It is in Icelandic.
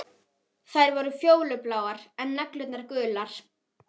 Hann ólst upp við að trúa á Guð, engla